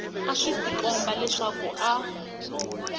a swi tikomba leswaku a